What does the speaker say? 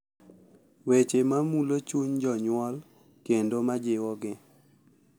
Weche ma mulo chuny jonyuol kendo ma jiwogi